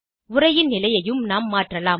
உரையின் நிலையையும் நாம் மாற்றலாம்